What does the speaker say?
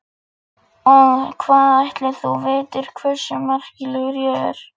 Og hvað ætli þú vitir hversu merkilegur ég er?